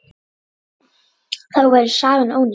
Þá væri sagan ónýt.